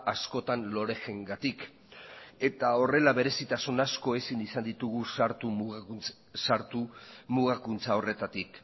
askotan loreg gatik eta horrela berezitasun asko ezin izan ditugu sartu mugakuntza horretatik